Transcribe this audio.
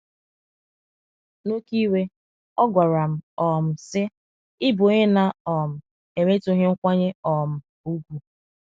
N’oké iwe, ọ gwara m, um sị: “ Ị bụ onye na - um enwetụghị nkwanye um ùgwù! ”